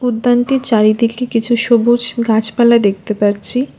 উদ্যানটির চারিদিকে কিছু সবুজ গাছপালা দেখতে পারছি।